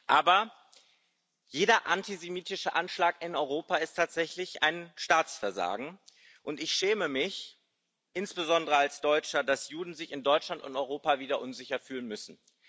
Aber jeder antisemitische Anschlag in Europa ist tatsächlich ein Staatsversagen, und ich schäme mich insbesondere als Deutscher, dass Juden sich in Deutschland und Europa wieder unsicher fühlen müssen.